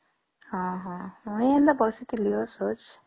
ହଁ ହଁ ମୁଇ ଏମିତି ବସିଥିଲି ସଛ